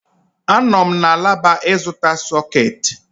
Ánọ m na alaba ịzụta sọ̀két